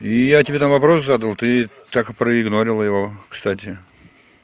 я тебе вопрос задал ты так и проигнорила его кстати